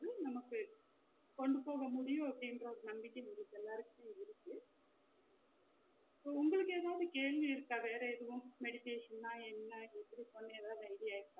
எதையும் நமக்கு கொண்டு போக முடியும் அப்டிங்குற ஒரு நம்பிக்க உங்க எல்லாருக்குமே இருக்கு so உங்களுக்கு எதாவது கேள்வி இருக்கா வேற எதுவும் meditation னா என்ன எப்டி பண்ணனும் எதாவது idea ?